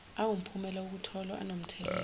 awumphumela wokutholwa anomthelela